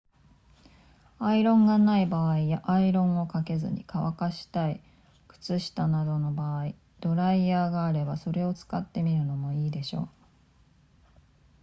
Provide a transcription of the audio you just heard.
アイロンがない場合やアイロンをかけずに乾かしたい靴下などの場合ドライヤーがあればそれを使ってみるのもいいでしょう